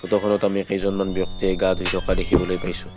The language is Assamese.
ফটোখনত আমি কেইজনমান ব্যক্তিয়ে গা ধুই থকা দেখিবলৈ পাইছোঁ।